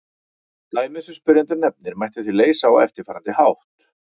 Dæmið sem spyrjandi nefnir mætti því leysa á eftirfarandi hátt.